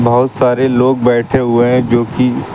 बहुत सारे लोग बैठे हुए जोकि--